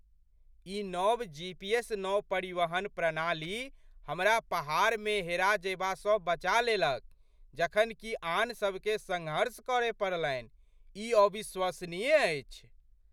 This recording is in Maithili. ई नव जीपीएस नौपरिवहन प्रणाली हमरा पहाड़मे हेरा जयबासँ बचा लेलक जखन कि आन सभकेँ सङ्घर्ष करय पड़लनि। ई अविश्वसनीय अछि!